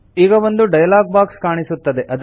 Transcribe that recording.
ಈಗ ಒಂದು dialog box ಕಾಣಿಸುತ್ತದೆ